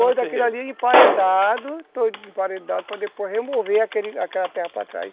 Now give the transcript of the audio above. emparedado, todo emparedado, para depois remover aquela terra para trás.